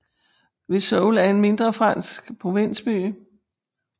Vesoul er en mindre fransk provinsby